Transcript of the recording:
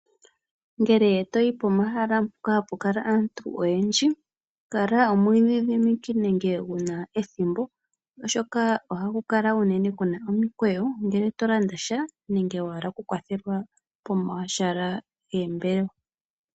Ngele toyi pomahala mpoka hapu kala aantu oyendji, kala omwiidhidhimiki nenge wuna ethimbo oshoka ohaku kala kuna omikweyo ngele to landasha nenge wa hala oku kwathelwasha moombelewa.